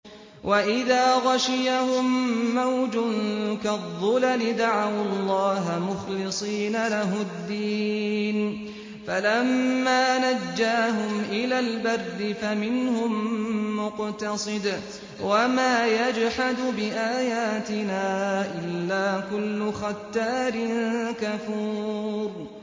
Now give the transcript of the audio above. وَإِذَا غَشِيَهُم مَّوْجٌ كَالظُّلَلِ دَعَوُا اللَّهَ مُخْلِصِينَ لَهُ الدِّينَ فَلَمَّا نَجَّاهُمْ إِلَى الْبَرِّ فَمِنْهُم مُّقْتَصِدٌ ۚ وَمَا يَجْحَدُ بِآيَاتِنَا إِلَّا كُلُّ خَتَّارٍ كَفُورٍ